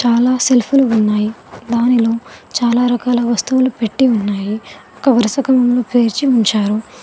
చాలా సెల్ఫీలు ఉన్నాయి దానిలో చాలా రకాల వస్తువులు పెట్టి ఉన్నాయి ఒక వరుస క్రమంలో పేర్చి ఉంచారు.